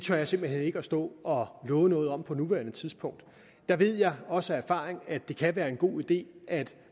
jeg simpelt hen ikke stå og love noget om på nuværende tidspunkt der ved jeg også af erfaring at det kan være en god idé at